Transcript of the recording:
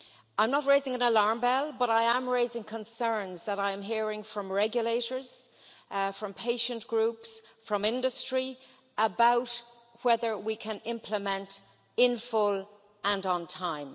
I'm not raising an alarm bell, but I am raising concerns that I am hearing from regulators, from patient groups and from industry about whether we can implement in full and on time.